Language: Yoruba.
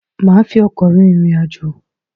Maa fi ọkọ̀ rin ìrìn àjò